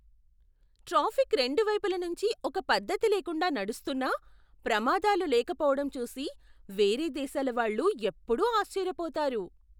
Traffic రెండు వైపుల నుంచీ ఒక పద్ధతి లేకుండా నడుస్తున్నా ప్రమాదాలు లేకపోవటం చూసి వేరే దేశాల వాళ్ళు ఎప్పుడూ ఆశ్చర్యపోతారు.